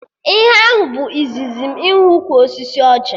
Ihe ahụ bụ izizi m ịhụ ukwu osisi ọjị